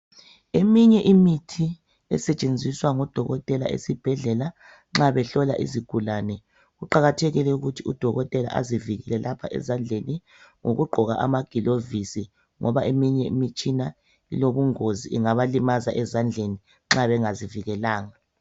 Eminye imithi esetshenziswa ngodokotela esibhedlela nxa behlola izigulane kuqakathekile ukuthi udokotela azivikele lapha ezandleni ngokugqoka amagilovisi ngoba eminye imitshina ilobungozi ingabalimaza ezandleni nxa bengazivikelanga.